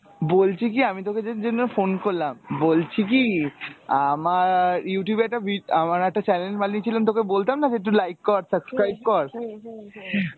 বলছি কী আমি তোকে যে জন্য phone করলাম বলছি কী আমার Youtube এ একটা vid~ video আমার একটা channel বানিয়েছিলাম তোকে বলতাম না যে একটু like কর subscribe কর